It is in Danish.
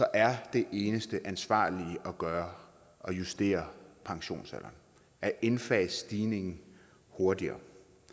er det eneste ansvarlige at gøre at justere pensionsalderen at indfase stigningen hurtigere